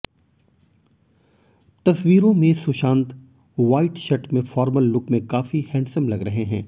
तस्वीरों में Sushant white shirt में फॉर्मल लुक में काफी हैंडसम लग रहे हैं